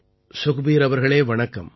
சுக்பீர் அவர்களே வணக்கம்